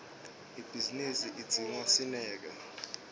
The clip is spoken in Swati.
ibhizinisi idzinga sineke